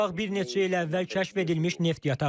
Qarabağ bir neçə il əvvəl kəşf edilmiş neft yatağıdır.